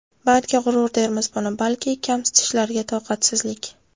Balki g‘urur dermiz buni, balki kamsitishlarga toqatsizlik.